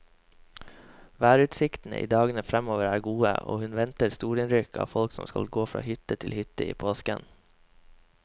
Værutsiktene i dagene fremover er gode, og hun venter storinnrykk av folk som skal gå fra hytte til hytte i påsken.